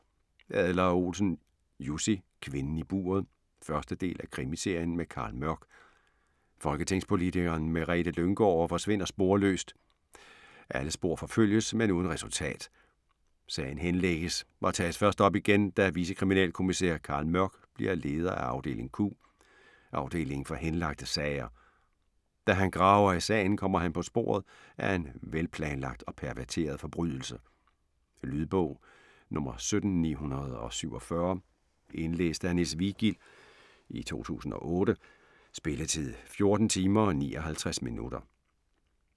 Adler-Olsen, Jussi: Kvinden i buret 1. del af krimiserien med Carl Mørck. Folketingspolitikeren Merete Lynggaard forsvinder sporløst. Alle spor forfølges, men uden resultat. Sagen henlægges og tages først op igen, da vicekriminalkommissær Carl Mørck bliver leder af afdeling Q, afdelingen for henlagte sager. Da han graver i sagen, kommer han på sporet af en velplanlagt og perverteret forbrydelse. Lydbog 17947 Indlæst af Niels Vigild, 2008. Spilletid: 14 timer, 59 minutter.